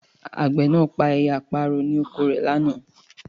Àgbẹ̀ náà pa ẹyẹ àparò ní ọkọ rẹ̀ lánàá